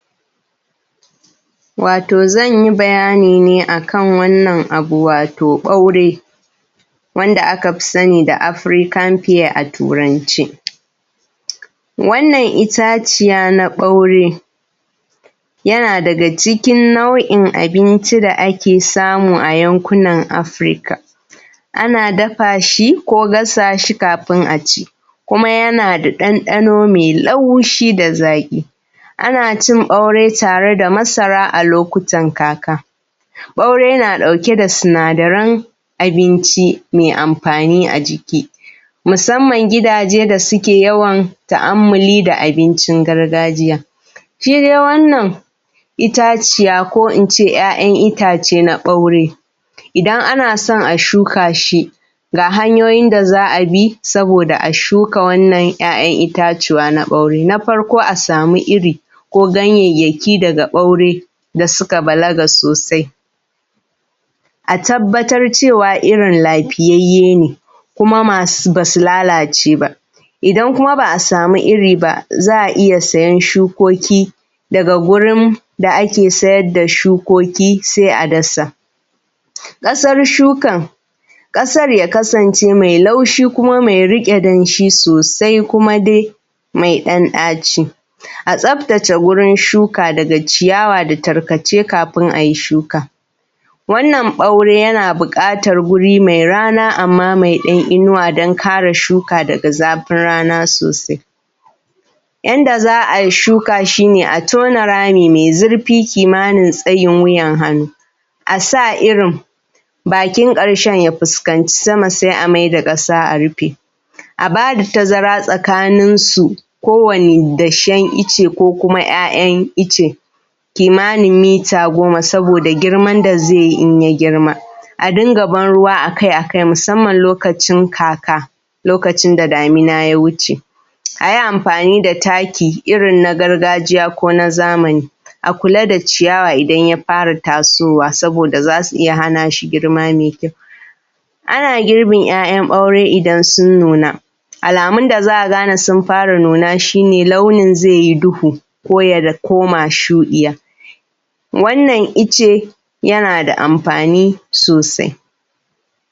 wato zan yi bayani ne a kan wannan abu wato ɓaure wanda aka fi sani da african peer a turance wannan itaciya na ɓaure yana daga cikin nau’in abinci da ake samu a yankunan africa ana dafa shi ko gasa shi kafin a ci kuma yana da ɗanɗano mai laushi da zaƙi ana cin ɓaure da masara a lokutan kaka ɓaure yana ɗauke da sinadaran abinci mai amfani a jiki musamman gidaje da suke yawan ta’ammuli da abincin gargajiya shi dai wannan itaciya ko in ce ‘ya’yan itace na ɓaure idan ana son a shuka shi ga hanyoyin da za a bi saboda a shuka wannan ‘ya’yan itatuwa na ɓaure na farko a samu iri ko ganyayyaki daga ɓaure da suka balaga sosai a tabbatar cewa irin lafiyayye ne kuma ba su lalace ba idan kuma ba a samu iri ba za a iya sayen shukoki daga gurin da ake sayar da shukoki sai a dasa ƙasar shukan ƙasar ya kasance mai laushi kuma kuma mai riƙe danshi sosai kuma dai mai ɗan ɗaci a tsaftace wurin shuka daga ciyawa da tarkace kafin a yi shuka wannan ɓaure yana buƙatar wuri mai rana amma mai ɗan inuwa don kare shuka daga zafin rana sosai yanda za a yi shuka shi ne a tona rami mai zurfi kimanin tsayin wuyan hannu a sa irin bakin ƙarshen ya fuskanci sama sai a mai da ƙasa a rufe a ba da tazara tsakaninsu kowane dashen ice ko kuma ‘ya’yan ice kimanin mita goma saboda girman da zai yi in ya girma a dinga ban ruwa a kai a kai musamman lokacin kaka lokacin da damina ya wuce a yi amfani da taki irin na gargajiya ko na zamani a kula da ciyawa idan ya fara tasowa saboda za su iya hana shi girma mai kyau ana girbin ‘ya’yan ɓaure idan sun nuna alamun da za a gane sun fara nuna shi ne launin zai yi duhu ko ya koma shuɗiya wannan ice yana da amfani sosai